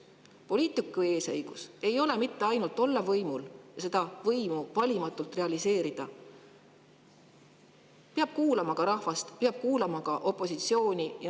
Poliitiku eesõigus ei ole mitte ainult võimul olla ja seda võimu valimatult realiseerida, vaid ta peab kuulama rahvast, ta peab kuulama ka opositsiooni.